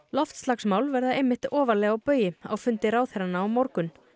loftslagsmál verða einmitt ofarlega á baugi á fundi ráðherranna á morgun